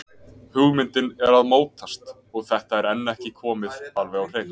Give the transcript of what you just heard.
Hugmyndin er að mótast og þetta er enn ekki komið alveg á hreint.